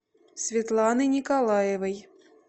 светланы николаевой